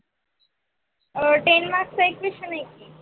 ten mark एक question है.